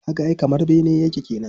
Ka ga ai kamar bene yake kenan.